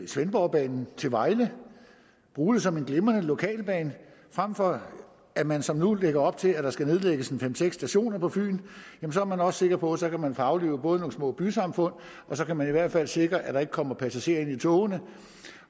svendborgbanen til vejle og bruge det som en glimrende lokalbane frem for at man som nu lægger op til at der skal nedlægges en fem seks stationer på fyn så er man også sikker på at så kan man få aflivet nogle små bysamfund og så kan man i hvert fald sikre at der ikke kommer passagerer ind i togene